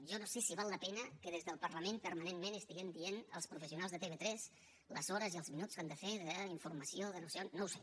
jo no sé si val la pena que des del parlament permanentment estiguem dient als professionals de tv3 les hores i els minuts que han de fer d’informació de no sé on no ho sé